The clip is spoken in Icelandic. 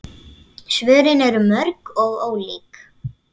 Svörin eru mörg og ólík.